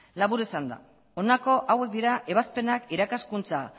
labur esanda honako hauek dira ebazpenak irakaskuntza